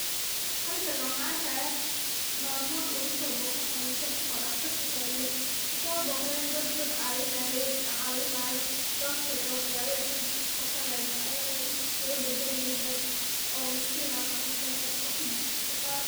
Halkan neh waxaan arkayaa maamo lagusoboqde xanuunsan oo daqtarka taale kusoboqdeen dad dad caawinayeen lacaawinaayo lookene waxyaabo ey cunuga kuqabsani laxed mise ayadha ey iskaga badali laheed oo maskiin ah xanuunsaneed oo kujirte isbataal.